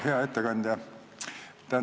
Hea ettekandja!